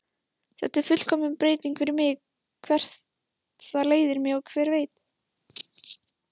Þetta er fullkomin breyting fyrir mig, hvert það leiðir mig, hver veit?